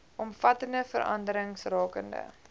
omvattende veranderings rakende